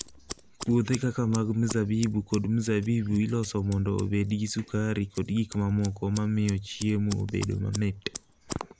Puothe kaka mag mzabibu kod mzabibu iloso mondo obed gi sukari kod gik mamoko ma miyo chiemo obed mamit.